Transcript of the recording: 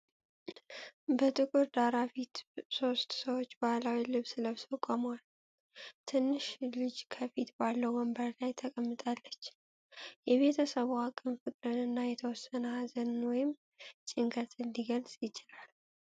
በጥቁር ዳራ ፊት ሶስት ሰዎች ባህላዊ ልብስ ለብሰው ቆመዋል። ትንሽ ልጅ ከፊት ባለው ወንበር ላይ ተቀምጣለች። የቤተሰቡ አቋም ፍቅርን እና የተወሰነ ሀዘንን ወይም ጭንቀትን ሊገልጽ ይችላል።